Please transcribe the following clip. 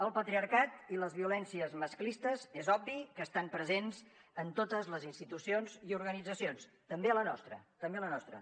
el patriarcat i les violències masclistes és obvi que estan presents en totes les institucions i organitzacions també a la nostra també la nostra